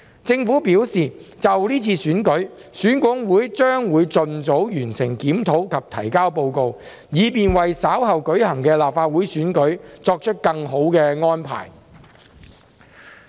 政府表示，就這次選舉，選管會將會盡早完成檢討及提交報告，以便為稍後舉行的立法會選舉作出更好的安排。